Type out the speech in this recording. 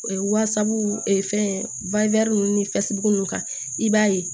Wasabu fɛn ninnu ni fɛsibuku ninnu kan i b'a ye